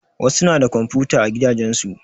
Wasu na da komfuta a gidajen su.